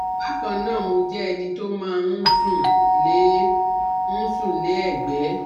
Bákan náà mo jẹ́ ẹni tó máa ń sùn lé ń sùn lé ẹ̀gbé